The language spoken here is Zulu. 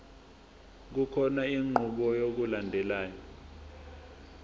kukhona inqubo yokulandelayo